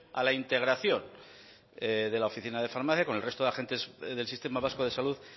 a la integración de la oficina de farmacia con el resto de agentes del sistema vasco de salud